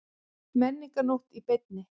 Menningarnótt í beinni